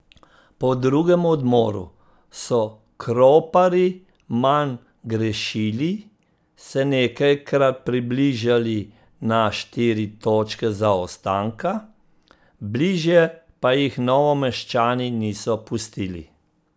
Po drugem odmoru so Kroparji manj grešili, se nekajkrat približali na štiri točke zaostanka, bližje pa jih Novomeščani niso pustili.